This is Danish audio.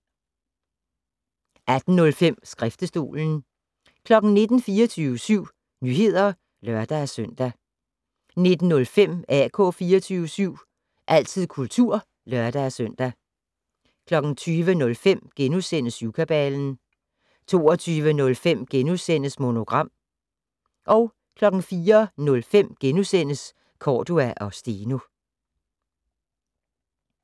18:05: Skriftestolen 19:00: 24syv Nyheder (lør-søn) 19:05: AK 24syv - altid kultur (lør-søn) 20:05: Syvkabalen * 22:05: Monogram * 04:05: Cordua & Steno *